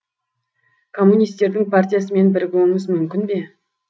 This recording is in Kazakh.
коммунистердің партиясымен бірігуіңіз мүмкін бе